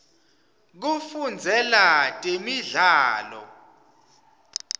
kufundzela temidlalo